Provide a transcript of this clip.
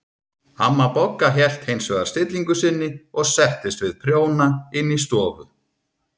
Amma Bogga hélt hins vegar stillingu sinni og settist við prjóna inn í stofu.